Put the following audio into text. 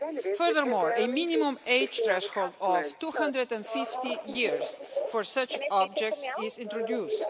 Furthermore, a minimum age threshold of 250 years for such objects is introduced.